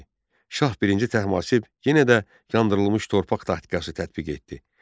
Şah I Təhmasib yenə də yandırılmış torpaq taktikası tətbiq etdi.